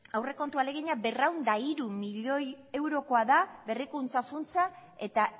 aurrekontu ahalegina berrehun eta hiru milioikoa eurokoa berrikuntza funtsa eta